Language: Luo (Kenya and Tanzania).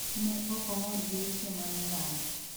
ne okomor gi weche manoland